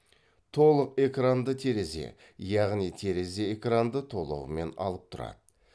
толық экранды терезе яғни терезе экранды толығымен алып тұрады